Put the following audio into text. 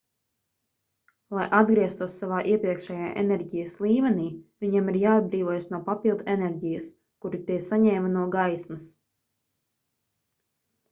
lai atgrieztos savā iepriekšējā enerģijas līmenī viņiem ir jāatbrīvojas no papildu enerģijas kuru tie saņēma no gaismas